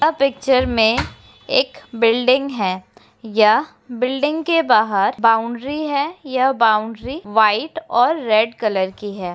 यह पिक्चर मे एक बिल्डिंग है। यह बिल्डिंग के बाहर बाउन्ड्री है। यह बाउन्ड्री व्हाइट और रेड कलर की है।